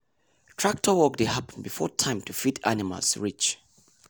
tractor work dey happen before time to feed animals reach.